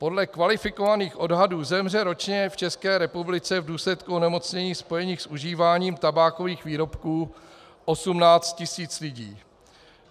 Podle kvalifikovaných odhadů zemře ročně v České republice v důsledku onemocnění spojených s užíváním tabákových výrobků 18 tisíc lidí.